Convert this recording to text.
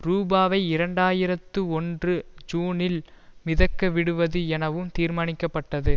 ரூபாவை இரண்டு ஆயிரத்தி ஒன்று ஜூனில் மிதக்க விடுவது எனவும் தீர்மானிக்க பட்டது